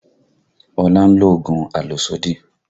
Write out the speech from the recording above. Ọlá ń lo oògùn àlòsódì